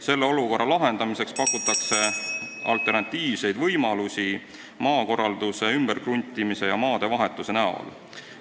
Selle olukorra lahendamiseks pakutakse alternatiivseid maakorralduse võimalusi ümberkruntimise ja maadevahetuse näol.